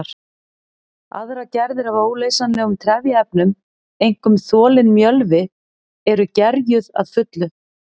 Aðrar gerðir af óleysanlegum trefjaefnum, einkum þolinn mjölvi, eru gerjuð að fullu.